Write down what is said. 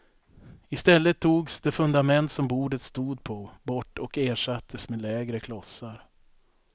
I stället togs det fundament som bordet stod på bort och ersattes med lägre klossar.